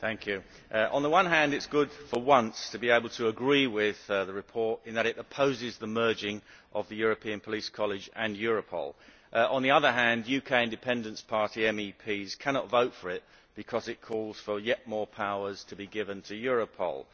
Mr President, on the one hand, it is good for once to be able to agree with the report in that it opposes the merging of the European Police College and Europol. On the other hand, UK Independence Party MEPs cannot vote for it because it calls for yet more powers to be given to Europol.